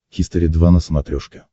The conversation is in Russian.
хистори два на смотрешке